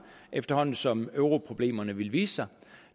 efterhånden som europroblemerne ville vise sig